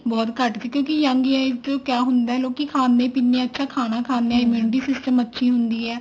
ਬਹੁਤ ਘੱਟ ਸੀ ਕਿਉਂਕਿ young age ਕਿਆ ਹੁੰਦਾ ਲੋਕੀ ਖਾਂਦੇ ਪੀਂਦੇ ਆ ਅੱਛਾ ਖਾਣਾ ਖਾਂਦੇ ਆ immunity system ਅੱਛੀ ਹੁੰਦੀ ਆ